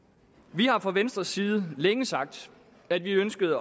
vi har fra venstres side længe sagt at vi ønskede